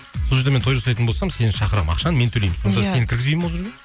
сол жерде мен той жасайтын болсам сені шақырамын ақшаны мен төлеймін сонда сен кіргізбейді ме ол жерге